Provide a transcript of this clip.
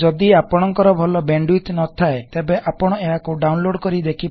ଯଦି ଆପଣକଂର ଭଲ ବେଣ୍ଡଉଇଥ୍ ନ ଥାଏ ତେବେ ଆପଣ ଏହାକୁ ଡାଉନଲୋଡ କରି ଦେଖିପାରିବେ